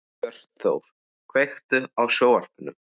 Hjörtþór, kveiktu á sjónvarpinu.